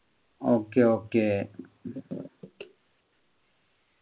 okay okay